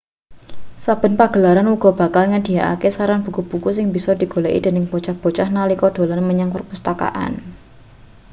saben pagelaran uga bakal nyedhiyakake saran buku-buku sing bisa digoleki dening bocah-bocah nalika dolan menyang perpustakaan